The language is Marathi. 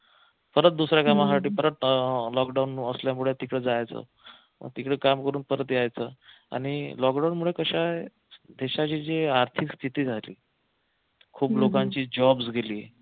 परत दुसऱ्या कामासाठी परत लॉकडाऊन असल्यामुळे तिकडे जायचं तिकडे काम करून परत यायचं आणि लॉकडाऊनमुळे कस आहे देशाची जी आर्थिक स्थिती झाली खूप लोकांची jobs गेले